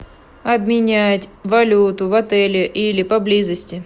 обменять валюту в отеле или поблизости